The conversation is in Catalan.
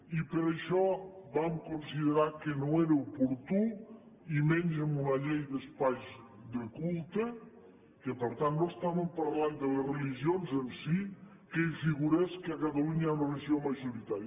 i per això vam considerar que no era oportú i menys en una llei d’espais de culte que per tant no estàvem parlant de les religions en si que hi figurés que a catalunya hi ha una religió majoritària